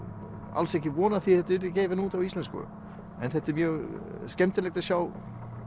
alls ekki von á að þetta yrði gefið út á íslensku en þetta er mjög skemmtilegt að sjá